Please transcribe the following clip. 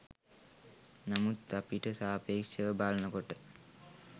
නමුත් අපිට සාපේක්‍ෂ ව බලන කොට